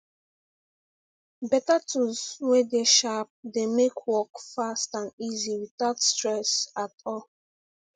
beta tools wey dey sharp dey make work fast and easy witout stress at all